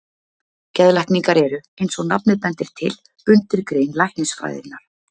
Geðlækningar eru, eins og nafnið bendir til, undirgrein læknisfræðinnar.